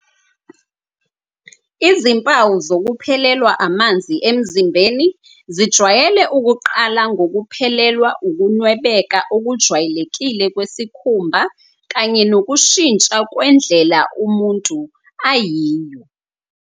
Izimpawu zokuphelelwa amanzi emzimbeni zijwayele ukuqala ngokuphelelwa ukunwebeka okujwayelekile kwesikhumba kanye nokushintsha kwendlela umuntu ayiyo.